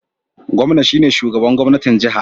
Gwamna shine shugaban gwamnatin jiha